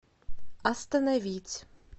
остановить